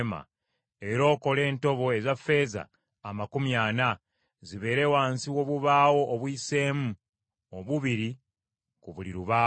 era okole entobo eza ffeeza amakumi ana, zibeere wansi w’obubaawo obuyiseemu obubiri ku buli lubaawo.